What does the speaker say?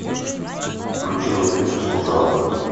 включи мне фильм служанка